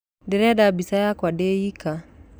Ndĩrenda mbica yakwa ndĩnyika.